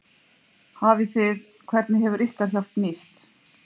Hafið þið, hvernig hefur ykkar hjálp nýst?